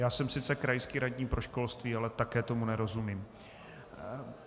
Já jsem sice krajský radní pro školství, ale také tomu nerozumím.